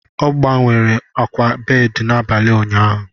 Ọ gbanwere akwa bedị n'abalị ụnyaahụ.